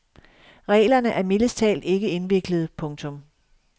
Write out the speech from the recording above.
Reglerne er mildest talt ikke indviklede. punktum